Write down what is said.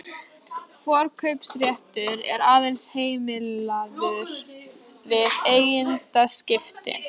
Forkaupsréttur er aðeins heimilaður við eigendaskipti.